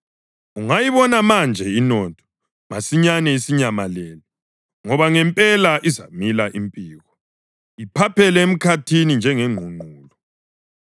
Ungayibona manje inotho, masinyane isinyamalele, ngoba ngempela izamila impiko iphaphele emkhathini njengengqungqulu.